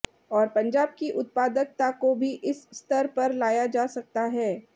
और पंजाब की उत्पादकता को भी इस स्तर पर लाया जा सकता है